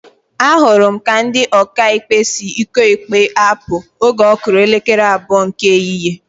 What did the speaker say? Ahụrụ m ka ndị Ọkaikpe si ụkọ ikpe apụ oge ọ kụrụ elekere abụọ nke ehihie